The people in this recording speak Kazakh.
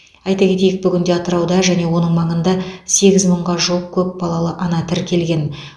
айта кетейік бүгінде атырауда және оның маңында сегіз мыңға жуық көп балалы ана тіркелген